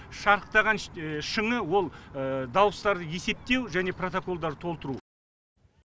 шарықтаған шыңы ол дауыстарды есептеу және протоколдарды толтыру